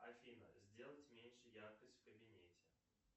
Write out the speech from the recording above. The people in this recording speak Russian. афина сделать меньше яркость в кабинете